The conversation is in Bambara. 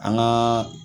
An gaa